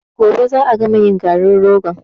Gobe za a gama yin garin rogon.